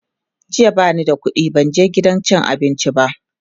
jiya bani da ƙuɗi ban je gidan cin abinci ba